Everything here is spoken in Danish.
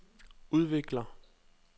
udvikler